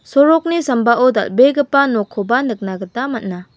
sorokni sambao dal·begipa nokkoba nikna gita man·a.